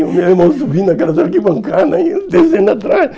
E o meu irmão subindo naquela zona de bancada, e eu descendo atrás...